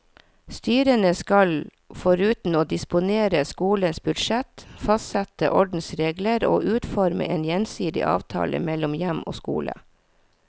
Styrene skal foruten å disponere skolens budsjett, fastsette ordensregler og utforme en gjensidig avtale mellom hjem og skole.